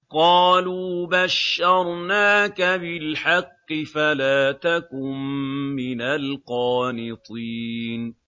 قَالُوا بَشَّرْنَاكَ بِالْحَقِّ فَلَا تَكُن مِّنَ الْقَانِطِينَ